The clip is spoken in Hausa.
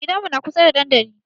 Gidanmu na kusa da dandali.